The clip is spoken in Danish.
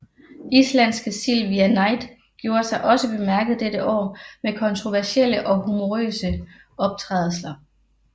Islandske Silvia Night gjorde sig også bemærket dette år med kontroversielle og humorøse optrædelser